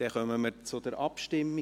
Dann kommen wir zur Abstimmung.